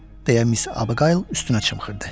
deyə Miss Abigale üstünə çımxırdı.